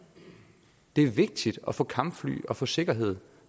det er vigtigt at få kampfly og få sikkerhed